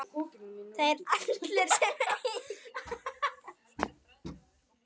Þeir allir sem einn?